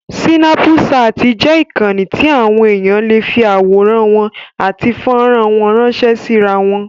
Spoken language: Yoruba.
Sínápùṣaàtì jẹ́ ìkànnì tí àwọn èèyàn lè fi àwọ̀rán wọn àti fọ́rán wọn ránṣẹ́ sí irawọn.